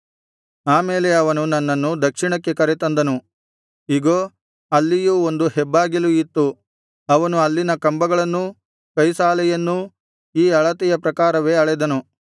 ಆ ಮೇಲೆ ಅವನು ನನ್ನನ್ನು ದಕ್ಷಿಣಕ್ಕೆ ಕರೆ ತಂದನು ಇಗೋ ಅಲ್ಲಿಯೂ ಒಂದು ಹೆಬ್ಬಾಗಿಲು ಇತ್ತು ಅವನು ಅಲ್ಲಿನ ಕಂಬಗಳನ್ನೂ ಕೈಸಾಲೆಯನ್ನೂ ಈ ಅಳತೆಯ ಪ್ರಕಾರವೇ ಅಳೆದನು